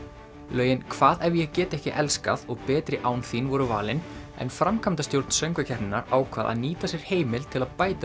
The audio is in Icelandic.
lögin hvað ef ég get ekki elskað og betri án þín voru valin en framkvæmdastjórn söngvakeppninnar ákvað að nýta sér heimild til að